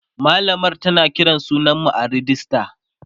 mallamar tana Kiran sunan mu a rejista